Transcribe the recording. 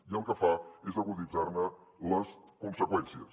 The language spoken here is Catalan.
i el que fa és aguditzar ne les conseqüències